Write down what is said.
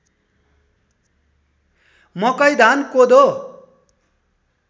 मकै धान कोदो